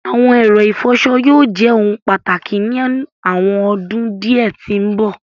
Awọn ẹrọ-ifọṣọ yóò jẹ ohun pátákì ni awọn ọdún diẹ ti mbọ.